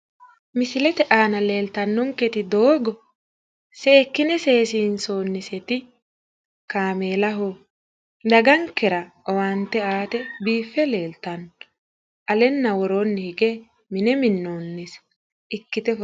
Misilete aana leeltannonketi doogo seekkine seesiinsoonniseti kaameelaho dagankera owaante aate biiffe leeltanno aleenna woroonni hige mine minnoonnise ikkite.